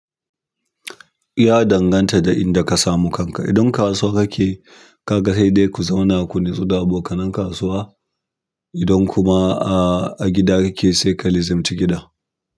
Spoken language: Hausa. Ya danganta da inda ka samu kanka. Idan kasuwa kake, ka ga sai dai ku zauna ku natsu da abokanan kasuwa. Idan kuma a gida kake, sai ka lizumci gida.